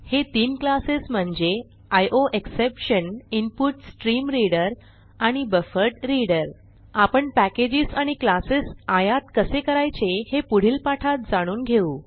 हे तीन क्लासेस म्हणजे आयोएक्सेप्शन इन्पुटस्ट्रीमरीडर आणि बफरड्रीडर आपण पॅकेज आणि क्लासेस आयात कसे करायचे हे पुढील पाठात जाणून घेऊ